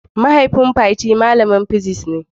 mahaifin Fati malamar physics ne.